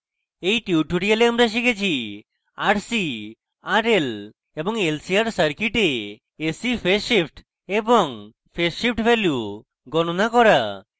in tutorial আমরা শিখেছি